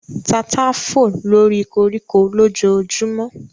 Tata fò lóri koríko lójojúmọ́